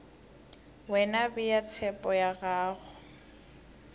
wena bea tshepo ya gago